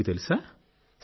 ఇది మీకు తెలుసా